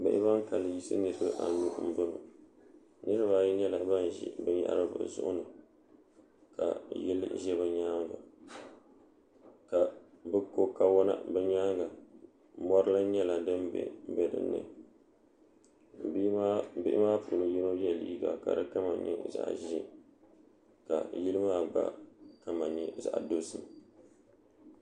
bihi ban kanli yisi niraba anu n bɔŋɔ niraba ayi nyɛla ban ʒi binyahari bi zuɣuni ka yili ʒɛ bi nyaanga ka bi kɔ kawɔna di nyaanga mori lahi nyɛla din bɛ dinni bihi maa puuni yinɔ yɛ liiga ka di kama nyɛ zaɣ ʒiɛ ka yino maa gba kama nyɛ zaɣ dozim